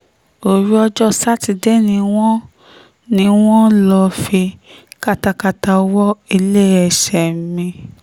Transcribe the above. òru ọjọ́ sátidé ni wọ́n ni wọ́n lọ́ọ́ fi katakata wọ iléeṣẹ́ mi